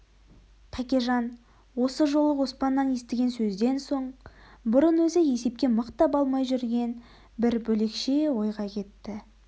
тәкежан осы жолы оспаннан естіген сөзден соң бұрын өзі есепке мықтап алмай жүрген бір бөлекше ойға кетті